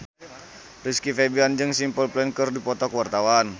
Rizky Febian jeung Simple Plan keur dipoto ku wartawan